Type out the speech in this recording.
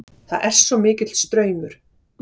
Það er svo mikill straumur.